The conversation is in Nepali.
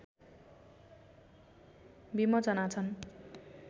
विमोचना छन्